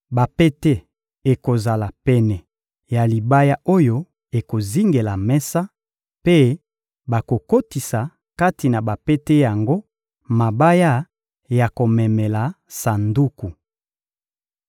Bapete ekozala pene ya libaya oyo ekozingela mesa, mpe bakokotisa kati na bapete yango mabaya ya komemela sanduku.